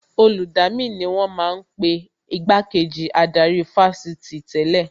Olùdamí ni wọ́n ma ń pe Igbá kejì adarí ní Fásitì tẹ́lẹ̀